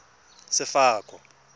sefako